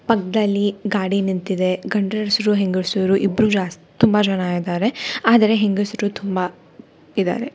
ಪಕ್ಕದಲ್ಲಿ ಗಾಡಿ ನಿಂತಿದೆ ಗಂಡಸರು ಹೆಂಗಸರು ಇಬ್ಬರು ಜಾಸ್ ತುಂಬಾ ಇದ್ದಾರೆ ಆದರೆ ಹೆಂಗಸರು ತುಂಬಾ ಇದಾರೆ.